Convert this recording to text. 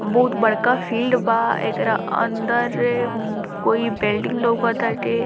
बहुत बड़का फील्ड बा एकरा अंदर कोई बिल्डिंग लउकताटे।